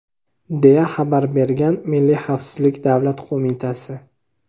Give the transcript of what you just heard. deya xabar bergan Milliy xavfsizlik davlat qo‘mitasi.